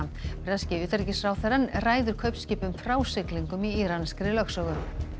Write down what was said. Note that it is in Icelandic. breski utanríkisráðherrann ræður kaupskipum frá siglingum í íranskri lögsögu